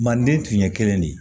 Manden tun ye kelen ye de